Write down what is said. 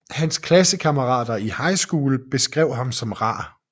Hans klassekammerater i High School beskrev ham som rar